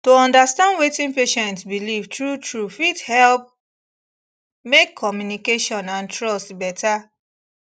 to understand wetin patient believe truetrue fit help make communication and trust better